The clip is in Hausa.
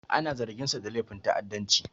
Ana zarginsa da laifin ta'addanci.